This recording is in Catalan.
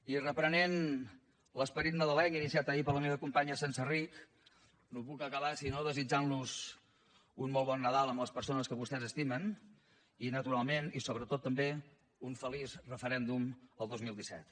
i reprenent l’esperit nadalenc iniciat ahir per la meva companya senserrich no puc acabar si no és desitjant los un molt bon nadal amb les persones que vostès estimen i naturalment i sobretot també un feliç referèndum el dos mil disset